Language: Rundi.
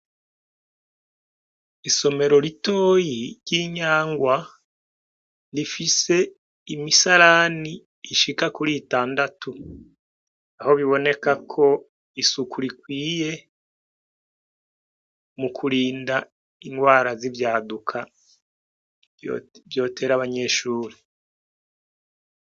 Isomero ritoyi ryi Inyangwa rifise imisarani ishika kuri itandatu aho biboneka ko isuku rikwiye mu kurinda ingwara z'ivyaduka vyotera abanyeshuri.